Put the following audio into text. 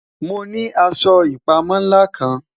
Mo ni aṣọ ipamọ nla kan